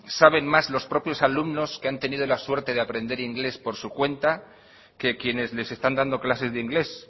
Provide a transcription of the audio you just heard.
saben más los propios alumnos que han tenido la suerte de aprender inglés por su cuenta que quienes les están dando clases de inglés